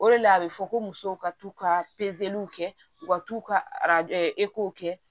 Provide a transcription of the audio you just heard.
O de la a bɛ fɔ ko musow ka t'u ka kɛ u ka t'u ka kɛ